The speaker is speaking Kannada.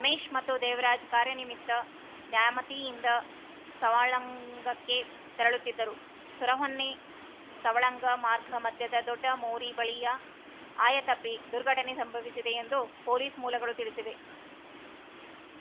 ರಮೇಶ್‌ ಮತ್ತು ದೇವರಾಜ್‌ ಕಾರ್ಯನಿುತ್ತ ನ್ಯಾಮತಿಯಿಂದ ಸವಳಂಗಕ್ಕೆ ತೆರಳುತ್ತಿದ್ದರು ಸುರಹೊನ್ನೆಸವಳಂಗ ಮಾರ್ಗ ಮಧ್ಯದ ದೊಡ್ಡ ಮೋರಿ ಬಳಿಯ ಆಯ ತಪ್ಪಿ ದುರ್ಘಟನೆ ಸಂಭಸಿದೆ ಎಂದು ಪೊಲೀಸ್‌ ಮೂಲಗಳು ತಿಳಿಸಿವೆ